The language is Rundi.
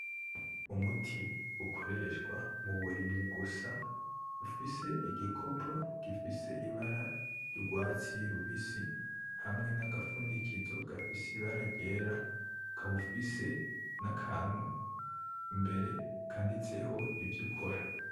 Umuti ukoreshwa muburimyi gusa. Ufise igikopo gifise ibara ry'urwatsi rubisi hamwe nagafundikizo gafise ibara ryera ukaba ufise n'akantu imbere kanditseho ivyo ukora.